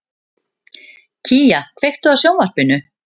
Kía, kveiktu á sjónvarpinu.